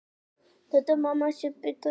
Siglt á miðnætti.